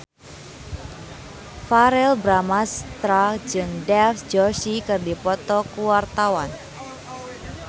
Verrell Bramastra jeung Dev Joshi keur dipoto ku wartawan